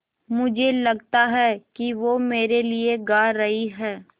मुझे लगता है कि वो मेरे लिये गा रहीं हैँ